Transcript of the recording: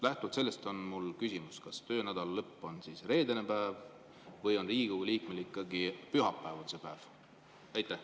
" Lähtuvalt sellest on mul küsimus: kas töönädala lõpp on reedene päev või on Riigikogu liikmel ikkagi pühapäev see päev?